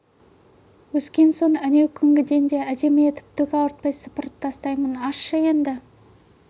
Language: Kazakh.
өскен соң әнеукүнгіден де әдемі етіп түк ауыртпай сыпырып тастаймын ашшы енді